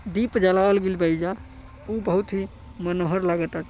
दीप जलावाल गइल बा एइजा उ बहुत ही मनोहर लगताटे।